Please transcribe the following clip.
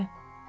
Andre.